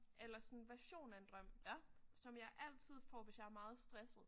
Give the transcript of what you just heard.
Eller sådan version af en drøm som jeg altid får hvis jeg er meget stresset